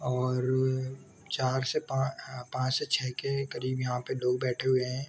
और चार से पा पाँच से छः के करीब यहाँ लोग बैठे हुए हैं।